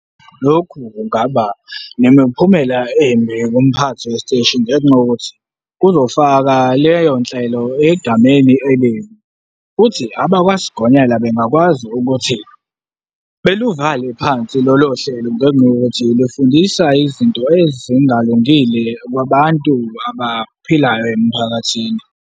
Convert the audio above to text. Lokhu kungaba nemiphumela embi kumphathi wesiteshi ngenxa yokuthi kuzofaka leyo nhlelo egameni elibi, futhi abakwasigonyela bengakwazi ukuthi beluvale phansi lolo hlelo ngenxa yokuthi lufundisa izinto ezingalungile kwabantu abaphilayo emphakathini.